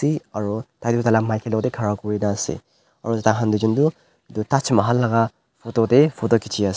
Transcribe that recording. we aro tai toh taila maki loko tae khara kurina ase aru tahan tuijon toh Taj Mahal laka photo tae photo khiciase.